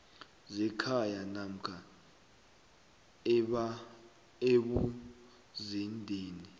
zekhaya namkha ebuzendeni